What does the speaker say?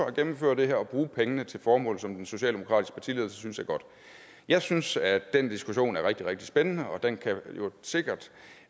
at gennemføre det her og bruge pengene til formål som den socialdemokratiske partiledelse synes er godt jeg synes at den diskussion er rigtig rigtig spændende og den kan jo sikkert